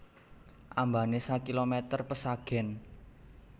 Ambané sakilomèter pesagèn